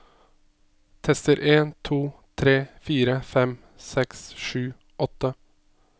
Tester en to tre fire fem seks sju åtte